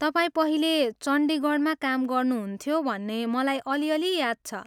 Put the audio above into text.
तपाईँ पहिले चण्डीगढमा काम गर्नुहुन्थ्यो भन्ने मलाई अलिअलि याद छ।